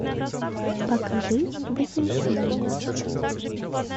покажи вознесение